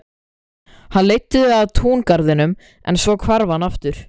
Hann leiddi þau að túngarðinum en svo hvarf hann aftur.